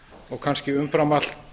og kannski umfram allt